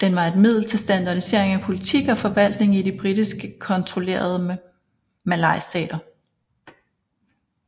Den var et middel til standardisering af politik og forvaltning i de britisk kontrollerede malaystater